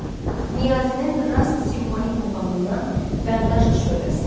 Niyazinin Rast simfonik muğamından Bərdüşt şöbəsi.